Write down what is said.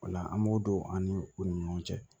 O la an b'o don an ni u ni ɲɔgɔn cɛ